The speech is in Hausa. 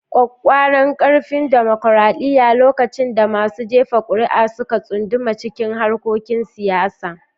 ƙwaƙƙwaran ƙarfin dimokuradiyya, lokacin da masu jefa ƙuri'a suka tsunduma cikin harkokin siyasa